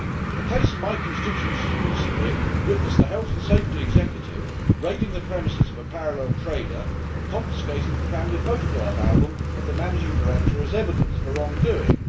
A case in my constituency recently witnessed the health and safety executive raiding the premises of a parallel trader and confiscating the family photograph album of the managing director as evidence for wrongdoing.